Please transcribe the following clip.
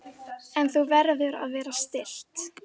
En þú verður að vera stillt.